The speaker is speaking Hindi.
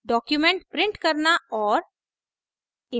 document print करना और